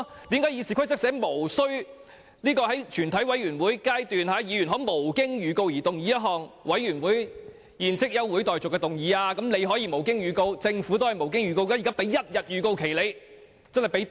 既然《議事規則》訂明議員在全委會審議階段可無經預告動議休會待續的議案，政府也可以無經預告動議議案，現在給了一天預告，已經很寬鬆。